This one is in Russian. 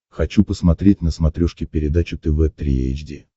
хочу посмотреть на смотрешке передачу тв три эйч ди